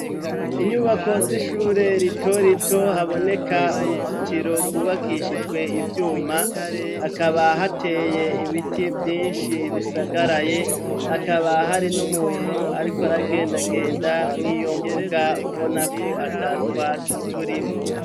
Inyubako z'ishure rito rito haboneka uruzitiro gwubakishijwe ivyuma hakaba hateye ibiti vyinshi bisagaraye hakaba hari n'umuntu ariko aragendagenda mwiyo mbuga ubona ko ata twatsi turimwo.